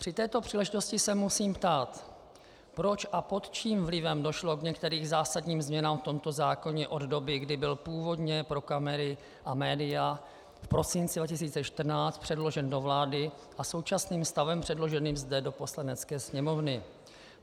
Při této příležitosti se musím ptát: Proč a pod čím vlivem došlo k některým zásadním změnám v tomto zákoně od doby, kdy byl původně pro kamery a média v prosinci 2014 předložen do vlády, a současným stavem předloženým zde do Poslanecké sněmovny.